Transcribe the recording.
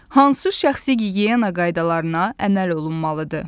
Hansı şəxsi gigiyena qaydalarına əməl olunmalıdır?